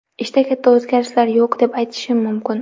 Ishda katta o‘zgarishlar yo‘q deb aytishim mumkin.